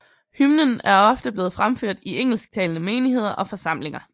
Hymnen er ofte blevet fremført i engelsktalende menigheder og forsamlinger